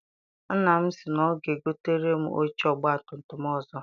Nna m sị na ọ ga egotere m oche ọgbatumtum ọzọ.